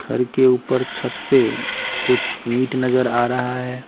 घर के ऊपर छत पे कुछ ईंट नजर आ रहा है।